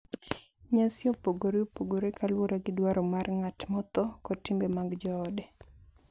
Nyasi opogore opogore kaluwore gi dwaro mar ng’at motho kod timbe mag joode